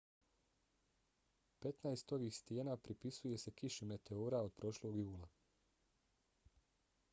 petnaest ovih stijena pripisuje se kiši meteora od prošlog jula